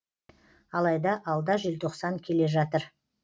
алайда алда желтоқсан келе жатыр